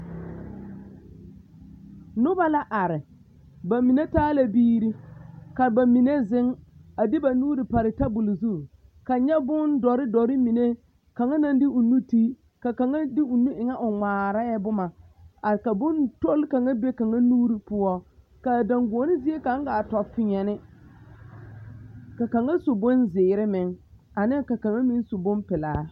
Noba la are, bamine taa la biiri ka bamine zeŋ a de ba nuuri pare tabole zu kaŋ nyɛ bondɔre dɔre mine kaŋa naŋ de o nu te ka kaŋa de o nu e ŋa o ŋmaarɛɛ boma ka bontol kaŋa be kaŋa nuuri poɔ k'a daŋgoɔne zie kaŋa gaa tɔ peɛne ka kaŋa su bonzeere meŋ ane ka kaŋa meŋ su bompelaa.